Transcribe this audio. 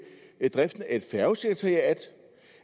driften af